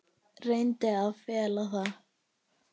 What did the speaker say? Reyndi að fela það.